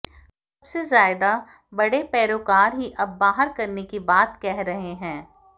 सबसे ज्यादा बड़े पैरोकार ही अब बाहर करने की बात कह रहे हैं